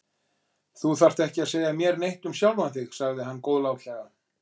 Þú þarft ekki að segja mér neitt um sjálfan þig sagði hann góðlátlega.